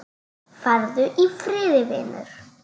Farðu í friði, vinur.